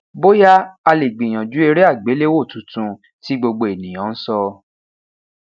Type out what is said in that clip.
boya a le gbiyanju ere agbelewo tuntun ti gbogbo eniyan n sọ